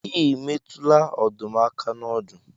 Ị metụla ọdụm aka n'ọdụ.